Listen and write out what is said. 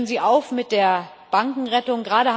Hören Sie auf mit der Bankenrettung!